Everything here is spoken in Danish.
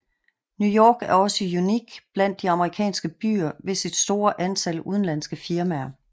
New York er også unik blandt de amerikanske byer ved sit store antal udenlandske firmaer